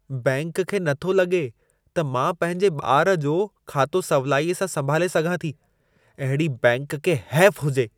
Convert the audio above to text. Bank खे न थो लॻे त मां पंहिंजे ॿारु जो खातो सवलाईअ सां संभाले सघां थी। अहिड़ी बैंक खे हैफ़ु हुजे।